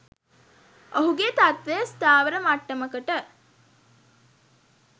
ඔහුගේ තත්ත්වය ස්ථාවර මට්ටමකට